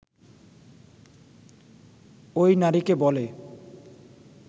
ওই নারীকে বলে